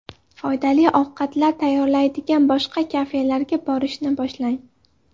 Foydali ovqatlar tayyorlaydigan boshqa kafelarga borishni boshlang .